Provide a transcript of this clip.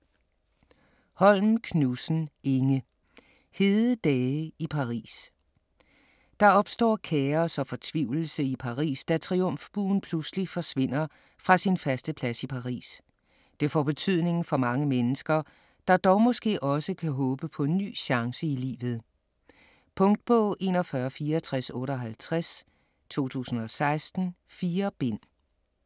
Holm Knudsen, Inge: Hede dage i Paris Der opstår kaos og fortvivlelse i Paris, da Triumfbuen pludselig forsvinder fra sin faste plads i Paris. Det får betydning for mange mennesker, der dog måske også kan håbe på en ny chance i livet. Punktbog 416458 2016. 4 bind.